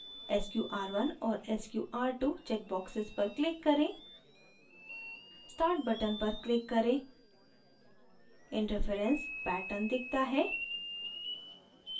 sqr1 और sqr2 checkboxes पर click करें start button पर click करें interference pattern दिखता है